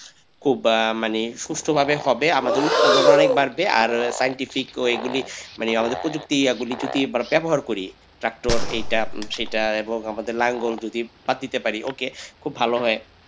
খুব আহ মানে সুস্থ ভাবে হবে আমাদের উৎপাদন অনেক বাড়বে আর scientific ওইগুলি মানে আমাদের প্রযুক্তি গুলো আহ ব্যবহার করি ট্রাক্টর এইটা সেইটা এবং আমাদের নাঙ্গল যদি বাদ দিতে পারি okay খুব ভালো হয়।